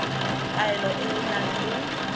kaelo e e nang le